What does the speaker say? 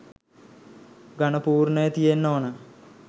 ඝණ පූර්ණය තියෙන්න ඕන.